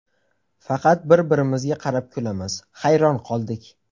Faqat bir-birimizga qarab kulamiz, hayron qoldik.